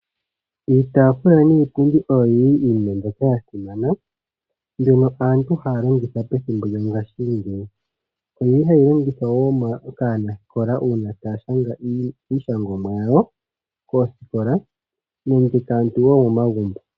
Iitaafula niipundi oyo yili iinima mbyoka yasimana , mbyono aantu haya longitha pethimbo lyongaashingeyi . Oyili hayi longithwa wo kaanasikola uuna taya shanga iishangomwa yawo koosikola nenge wo momagumbo.